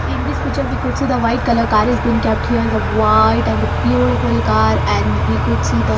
In this picture we could see the white color car is been kept here the white and the beautiful car and we could see the --